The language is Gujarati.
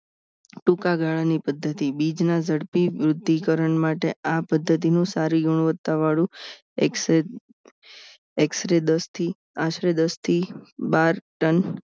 ટૂંકાગાળાની પદ્ધતિ બીજ ના ઝડપી વૃદ્ધિ કરણ માટે આ પદ્ધતિનું સારી ગુણવત્તાવાળું એક્સરે દસ થી આશરે દસ થી બાર ટન